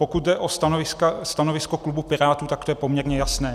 Pokud jde o stanovisko klubu Pirátů, tak to je poměrně jasné.